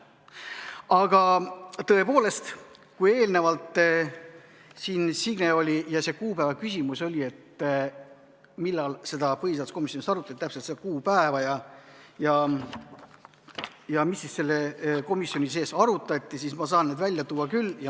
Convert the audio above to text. Aga tõepoolest, kui eelnevalt siin Signe ja see kuupäeva küsimus oli, millal seda põhiseaduskomisjonis arutati, mis oli täpselt see kuupäev ja mida komisjonis arutati, siis ma saan selle välja tuua küll.